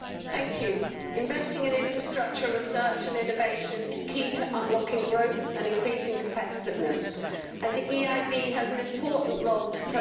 Mr President, investing in infrastructure research and innovation is key to unlocking growth and increasing competitiveness, and the EIB has an important role to play.